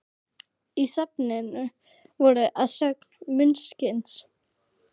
Í safninu voru að sögn munksins